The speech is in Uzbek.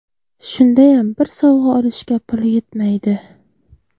Shundayam bir sovg‘a olishga puli yetmaydi.